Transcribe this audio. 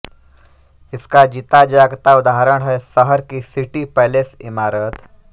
इसका जीता जागता उदाहरण है शहर की सिटी पैलेस इमारत